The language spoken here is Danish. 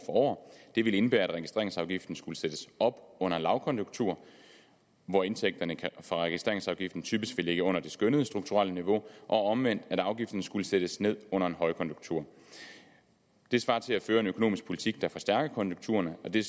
år det ville indebære at registreringsafgiften skulle sættes op under lavkonjunktur hvor indtægterne fra registreringsafgiften typisk vil ligge under det skønnede strukturelle niveau og omvendt at afgiften skulle sættes ned under en højkonjunktur det svarer til at føre en økonomisk politik der forstærker konjunkturerne og det